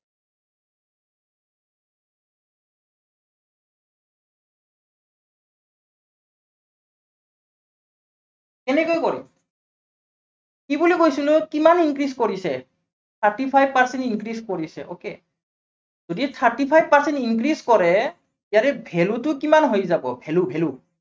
কেনেকৈ কৰিম। কি বুলি কৈছিলো, কিমান increase কৰিছে? thirty five percent increase কৰিছে okay যদি thirty five percent increase কৰে ইয়াৰে value টো কিমান হৈ যাব value value